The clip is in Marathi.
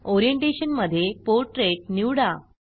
ओरिएंटेशन मधे पोर्ट्रेट निवडा